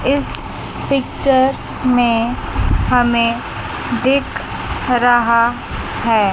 इस पिक्चर में हमें दिख रहा है।